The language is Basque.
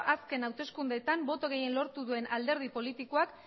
azken hauteskundeetan boto gehien lortu duen alderdi politikoak